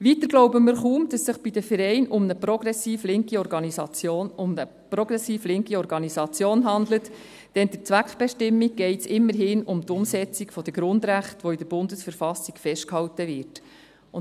Weiter glauben wir kaum, dass es sich beim Verein um eine progressiv-linke Organisation handelt, denn bei der Zweckbestimmung geht es immerhin um die Umsetzung der Grundrechte, die in der Bundesverfassung festgehalten werden.